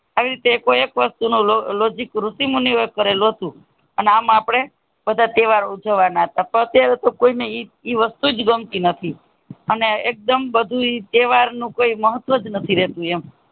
આવીજ રીતે એકો એક logic ઋષિ મુનિયો એ કરેલો હતું આમ અપને બધા તહેવારો ઉજવાના હતા પણ અતિયારે કોઈ ને ઇ વાસ્તુજ ગમતું નથી અને એકદમ બધું તહેવાર નું કંઈ મહત્તવ નથી રહેતું એમ